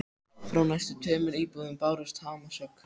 Frá næstu tveimur íbúðum bárust hamarshögg.